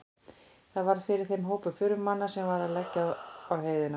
Þar varð fyrir þeim hópur förumanna sem var að leggja á heiðina.